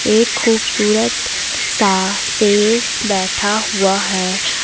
एक खूबसूरत सा बैठा हुआ है।